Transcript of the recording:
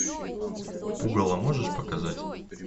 пугало можешь показать